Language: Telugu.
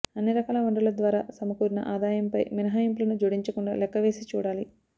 అన్ని రకాల వనరుల ద్వారా సమకూరిన ఆదాయంపై మినహాయింపులను జోడించకుండా లెక్కవేసి చూడాలి